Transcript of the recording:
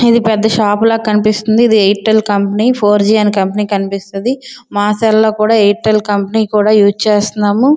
ఇది పెద్ద షాపు లాగా కనిపిస్తున్నది. ఇది ఎయిర్టెల్ కంపనీ ఫోర్జి కంపెనీ అన్ని కనిపిస్తాది మా సెల్ లో కూడా ఎయిర్టెల్ కంపెనీ యూస్ చేస్తున్నాము.